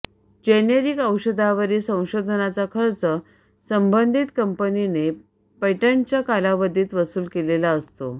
generic औषधांवरील संशोधनाचा खर्च संबंधित कंपनीने पेटंटच्या कालावधीत वसूल केलेला असतो